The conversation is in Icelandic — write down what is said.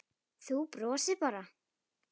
Þú brosir bara!